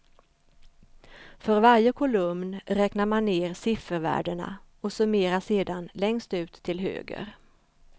För varje kolumn räknar man ner siffervärdena och summerar sedan längst ut till höger.